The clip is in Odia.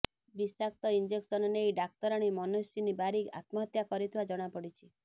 ବିଷାକ୍ତ ଇଞ୍ଜେକ୍ସନ ନେଇ ଡାକ୍ତରାଣୀ ମନସ୍ୱିନୀ ବାରିକ ଆତ୍ମହତ୍ୟା କରିଥିବା ଜଣାପଡ଼ିଛି